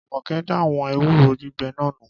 Jumoke da àwọn ewúro gbígbẹ náà nù